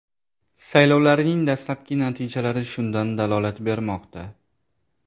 Saylovlarning dastlabki natijalari shundan dalolat bermoqda.